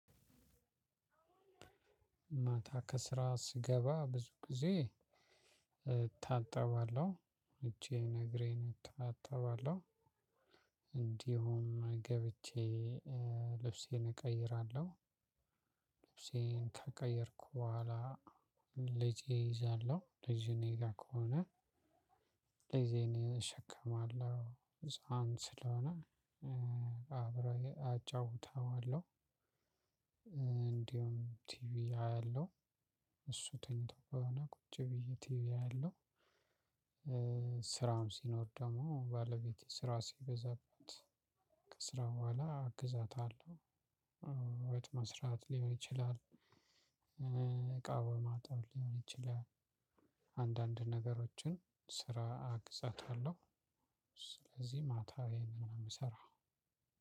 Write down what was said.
ማታ ከስራ ስገባ ብዙ ጊዜ ታጠባለሁ እጄን እግሬን ታጠባለሁ። እንዲሁም ገብቼ ልብሴን እቀይራለሁ። ልብሴን ከቀየርኩ በኋላ ልጄ እይዛለሁ ልጅ እኔ ጋር ከሆነ ልጅን እኔ እሸከማለሁ ህፃን ስለሆነ አብረው አጫውተዋለሁ። እንዲሁም ቲቪ አያለሁ እሱ ተኝቶ በሆነ ቁጭ ብዬ ቲቪ አያለሁ። ስራውን ሲኖር ደግሞ ባለቤቴ ስራ ሲበዛበት ከስራው በኋላ አግዛታለሁ። ወጥ መስራት ሊሆን ይችላል። እቃ በማጣብ ሊሆን ይችላል። አንዳንድ ነገሮችን ስራ አግዛታለሁ። ስለዚህ ማታ ይሄንን ነው የምሰራው።